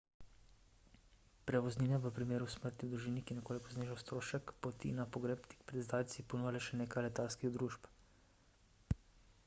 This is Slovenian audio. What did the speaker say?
prevoznine v primeru smrti v družini ki nekoliko znižajo strošek poti na pogreb tik pred zdajci ponuja le še nekaj letalskih družb